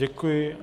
Děkuji.